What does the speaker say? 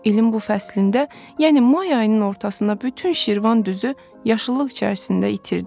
İlin bu fəslində, yəni may ayının ortasında bütün Şirvan düzü yaşıllıq içərisində itirdi.